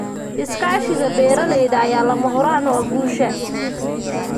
Iskaashiga beeralayda ayaa lama huraan u ah guusha.